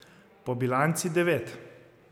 Po bilanci devet.